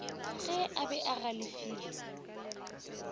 ge a be a galefile